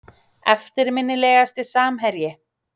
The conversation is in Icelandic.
Eftirminnilegasti samherji?